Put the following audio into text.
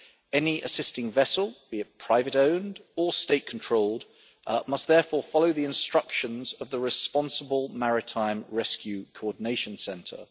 Any assisting vessel, be it private owned or state controlled, must therefore follow the instructions of the responsible Maritime Rescue Coordination Centre.